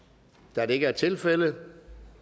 da det ikke er tilfældet